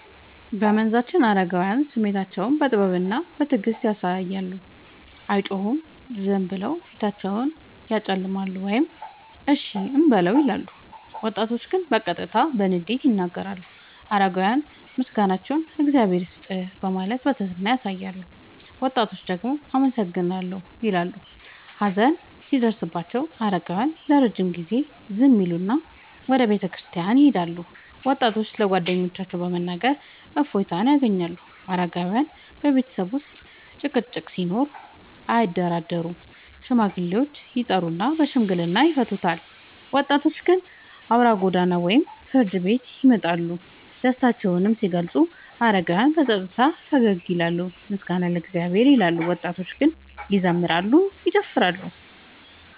በመንዛችን አረጋውያን ስሜታቸውን በጥበብና በትዕግስት ያሳያሉ፤ አይጮሁም፤ ዝም ብለው ፊታቸውን ያጨለማሉ ወይም “እሺ እንበለው” ይላሉ። ወጣቶች ግን በቀጥታ በንዴት ይናገራሉ። አረጋውያን ምስጋናቸውን “እግዚአብሔር ይስጥህ” በማለት በትህትና ያሳያሉ፤ ወጣቶች ደግሞ “አመሰግናለሁ” እንዳል ይበሉ። ሀዘን ሲደርስባቸው አረጋውያን ለረጅም ጊዜ ዝም ይላሉና ወደ ቤተክርስቲያን ይሄዳሉ፤ ወጣቶች ለጓደኞቻቸው በመናገር እፎይታ ያገኛሉ። አረጋውያን በቤተሰብ ውስጥ ጭቅጭቅ ሲኖር አያደራደሩም፤ ሽማግሌዎችን ይጠሩና በሽምግልና ይፈቱታል። ወጣቶች ግን አውራ ጎዳና ወይም ፍርድ ቤት ይመርጣሉ። ደስታቸውን ሲገልጹ አረጋውያን በጸጥታ ፈገግ ይላሉና “ምስጋና ለእግዚአብሔር” ይላሉ፤ ወጣቶች ግን ይዘምራሉ፤ ይጨፍራሉ።